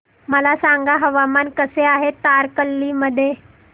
मला सांगा हवामान कसे आहे तारकर्ली मध्ये